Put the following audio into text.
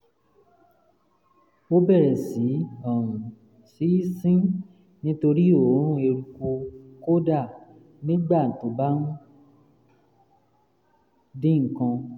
ó bẹ̀rẹ̀ sí um í sín nítorí òórùn eruku kódà nígbà tó bá ń um dín nǹkan